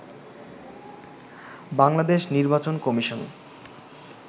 বাংলাদেশ নির্বাচন কমিশন